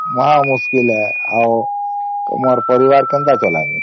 ମହା ମୁସ୍କିଲ ହେ ଆଉ ତୁମର ପରିବାର କେନ୍ତା ଚାଲାମୀ